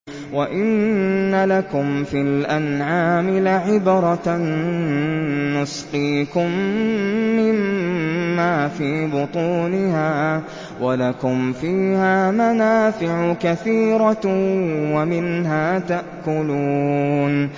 وَإِنَّ لَكُمْ فِي الْأَنْعَامِ لَعِبْرَةً ۖ نُّسْقِيكُم مِّمَّا فِي بُطُونِهَا وَلَكُمْ فِيهَا مَنَافِعُ كَثِيرَةٌ وَمِنْهَا تَأْكُلُونَ